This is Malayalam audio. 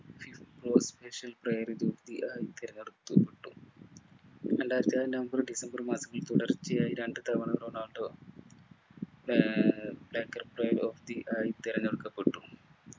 player of the year ആയി തെരഞ്ഞെടുക്കപ്പെട്ടു രണ്ടായിരത്തിഏഴ് നവംബര്‍ ഡിസംബർ മാസങ്ങളിൽ തുടറ്ച്ചയായി രണ്ടു തവണ റൊണാൾഡോ ആഹ് player of the year ആയി തെരഞ്ഞെടുക്കപ്പെട്ടു